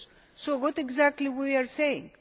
So what exactly are we saying?